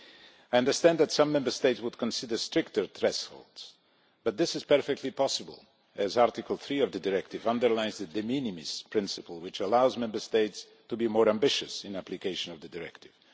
I understand that some Member States would consider stricter thresholds, but this is perfectly possible as Article 3 of the directive underlines the de minimis principle, which allows Member States to be more ambitious in application of the directive.